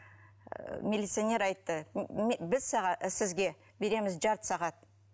милиционер айтты біз сізге береміз жарты сағат